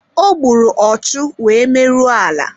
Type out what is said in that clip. Ogburu ọchu wee merụọ ala